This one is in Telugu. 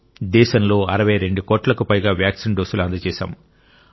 దేశంలో 62 కోట్లకు పైగా వ్యాక్సిన్ డోస్లు అందజేశాం